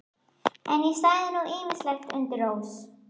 En ég sagði nú ýmislegt undir rós.